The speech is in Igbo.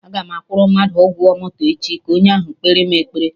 Agam akwụrụ mmadụ ụgwọ moto echi, ka onye ahụ kpere mụ ekpere